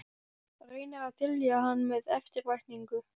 Reynir að dylja hann með eftirvæntingu.